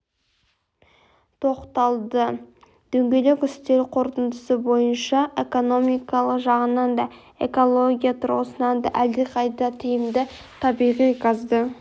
тоқталды дөңгелек үстел қорытындысы бойынша экономикалық жағынан да экология тұрғысынан да әлдеқайда тиімді табиғи газды